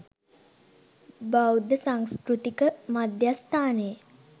බෞද්ධ සංස්කෘතික මධ්‍යස්ථානයේ